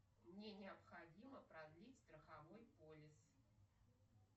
мне необходимо продлить страховой полис